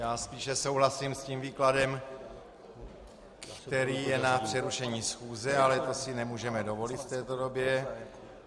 Já spíše souhlasím s tím výkladem, který je na přerušení schůze, ale to si nemůžeme dovolit v této době.